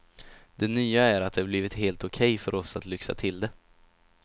Det nya är att det blivit helt okej för oss att lyxa till det.